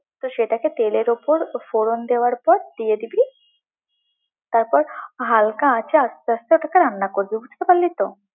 তো সেটাকে তেলের উপর ফোড়ন দেওয়ার পর দিয়ে দিবি, তারপর হালকা আঁচে আস্তে আস্তে ওটাকে রান্না করবি, বুঝতে পারলি তো?